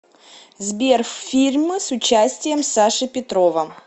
сбер фильмы с участием саши петрова